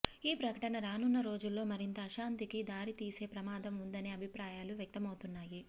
ఈ ప్రకటన రానున్న రోజుల్లో మరింత అశాంతికి దారితీసే ప్రమాదం ఉందనే అభిప్రాయాలు వ్యక్తమౌతున్నాయి